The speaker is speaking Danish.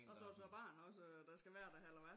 Og har du så barn også der skal være der eller hvad